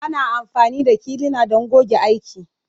Ana amfani da kilina don goge aiki.